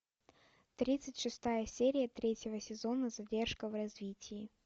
тридцать шестая серия третьего сезона задержка в развитии